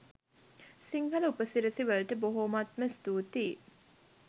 සිංහල උපසිරැසි වලට බොහොමත්ම ස්තූතියි